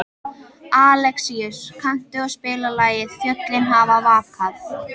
Alexíus, kanntu að spila lagið „Fjöllin hafa vakað“?